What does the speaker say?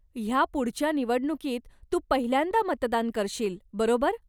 ह्या पुढच्या निवडणुकीत तू पहिल्यांदा मतदान करशील, बरोबर?